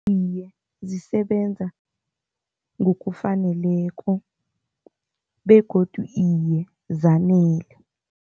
Iye, zisebenza ngokufaneleko begodu iye, zanele.